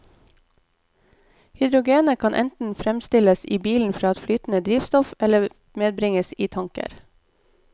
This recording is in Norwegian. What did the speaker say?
Hydrogenet kan enten fremstilles i bilen fra et flytende drivstoff, eller medbringes i tanker.